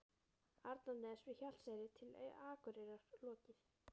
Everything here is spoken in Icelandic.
Arnarness við Hjalteyri til Akureyrar lokið.